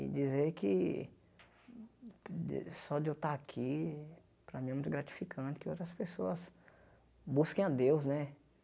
E dizer que de só de eu estar aqui, para mim é muito gratificante que outras pessoas busquem a Deus, né?